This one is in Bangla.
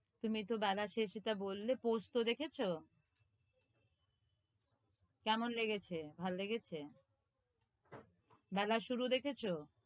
তুমি তহ বেলা শেষ এটা বললে, পোস্ত দেখেছ? কেমন লেগেছে? ভাল লেগেছে? বেলা শুরু দেখেছ?